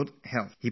He is so focussed